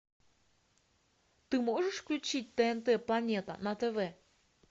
ты можешь включить тнт планета на тв